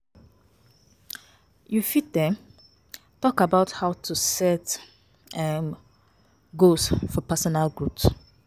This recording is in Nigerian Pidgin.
You fit um talk about how to set um goals for personal growth.